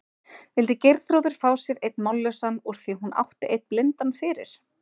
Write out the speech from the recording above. Vildi Geirþrúður fá sér einn mállausan úr því hún átti einn blindan fyrir?